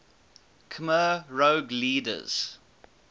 khmer rouge leaders